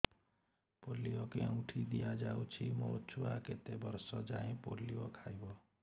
polio କେଉଁଠି ଦିଆଯାଉଛି ମୋ ଛୁଆ କେତେ ବର୍ଷ ଯାଏଁ ପୋଲିଓ ଖାଇବ